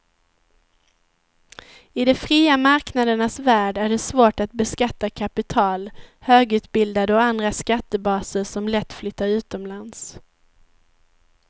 I de fria marknadernas värld är det svårt att beskatta kapital, högutbildade och andra skattebaser som lätt flyttar utomlands.